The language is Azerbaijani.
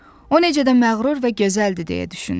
O necə də məğrur və gözəldir deyə düşündü.